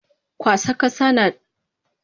Kwasa kasa nadaya daga cikin nau in gini.